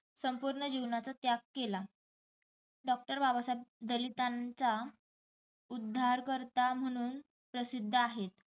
संपूर्ण जीवनाचा त्याग केला. doctor बाबासाहेब दलीतांचा उध्दारकर्ता म्हणून प्रसिद्ध आहेत.